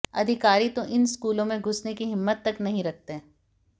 अधिकारी तो इन स्कूलों में घुसने की हिम्मत तक नहीं रखते